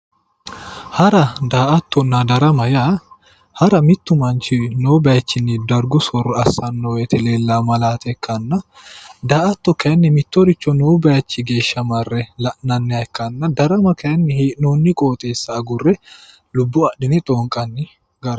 Hara daa'atonna darama yaa, hara yaa mittu manchi noo bayichinni dargu sooro assanno woyiitte leelanno malaate ikkanna. daa'atto kayiinni mittoricho noo bayichi geeshsha mare la'nanni gara ikanna, daramma kayiinni mittu hee'noonni qooxeesa agure lubbo adhinne xoonqanni gara.